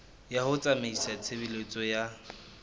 ya ho tsamaisa tshebeletso ya